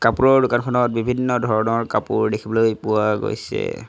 কাপোৰৰ দোকনখনত বিভিন্ন ধৰণৰ কাপোৰ দেখিবলৈ পোৱা গৈছে।